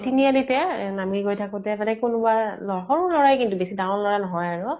এ তিনি আলিতে নামি গৈ থাকোতে মানে, কোনোবা লʼৰা য়ে কিন্তু বেছি ডাঙৰ লʼৰা নহয় আৰু